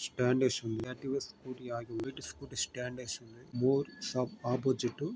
Stand ఏసుంది. Activa scooty ఆగి ఉంది. స్టాండ్ ఏసుంది. More shop opposite --